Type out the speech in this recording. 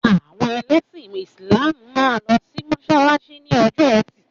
Àwọn ẹlẹ́sìn Ísílàmù máa ń lọ sí mọ́sálásí ní ọjọ́ ẹtì.